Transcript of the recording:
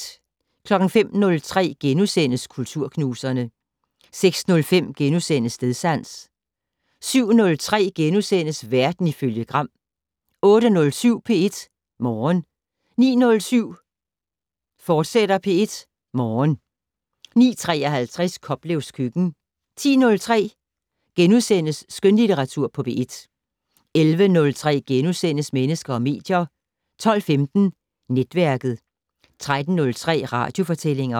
05:03: Kulturknuserne * 06:03: Stedsans * 07:03: Verden ifølge Gram * 08:07: P1 Morgen 09:07: P1 Morgen, fortsat 09:53: Koplevs køkken 10:03: Skønlitteratur på P1 * 11:03: Mennesker og medier * 12:15: Netværket 13:03: Radiofortællinger